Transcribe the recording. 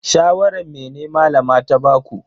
Shawaran mene Malama ta baku?